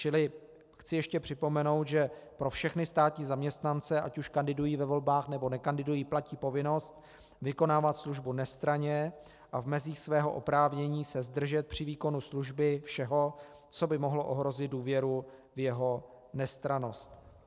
Čili chci ještě připomenout, že pro všechny státní zaměstnance, ať už kandidují ve volbách, nebo nekandidují, platí povinnost vykonávat službu nestranně a v mezích svého oprávnění se zdržet při výkonu služby všeho, co by mohlo ohrozit důvěru v jeho nestrannost.